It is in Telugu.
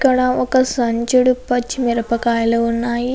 ఇక్కడ ఒక సంచడు పచ్చిమిరపకాయలు ఉన్నాయి.